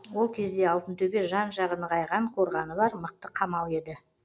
ол кезде алтынтөбе жан жағы нығайған қорғаны бар мықты қамал еді